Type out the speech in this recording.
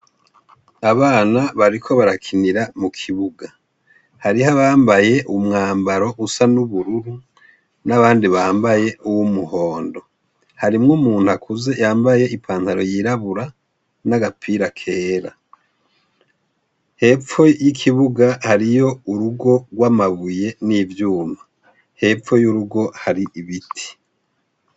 Abana bariko barakinira mukibuga hariho abambaye umwambaro usa nubururu nabandi bambaye uwumuhondo harimwo umuntu akuze yambaye ipantalo yirabura nagapira kera hepfo yikibuga hariyo urugo rwamabuye nivyuma hepfo yurugo hari nibiti